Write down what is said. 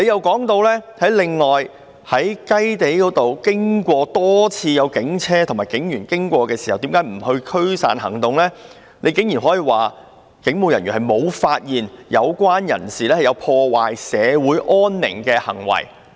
局長解釋為何警車及警員多次經過"雞地"，卻沒有作出驅散行動時，竟然說："人員無發現有關人士有破壞社會安寧的行為。